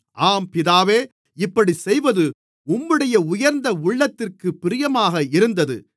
ஆம் பிதாவே இப்படிச்செய்வது உம்முடைய உயர்ந்த உள்ளத்திற்குப் பிரியமாக இருந்தது